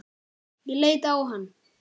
Ég leit á hann.